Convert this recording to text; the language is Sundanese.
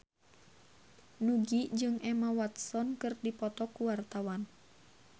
Nugie jeung Emma Watson keur dipoto ku wartawan